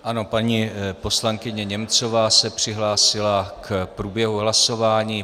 Ano, paní poslankyně Němcová se přihlásila k průběhu hlasování.